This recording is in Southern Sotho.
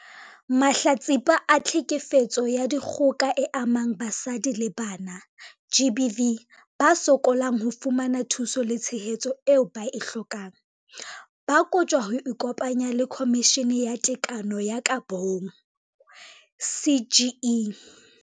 Mahlatsipa a Tlhekefetso ya Dikgoka e Amang Basadi le Bana, GBV, ba sokolang ho fumana thuso le tshehetso eo ba e hlokang, ba kotjwa ho ikopanya le Khomishene ya Tekano ho ya ka Bong, CGE.